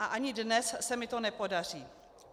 A ani dnes se mi to nepodaří.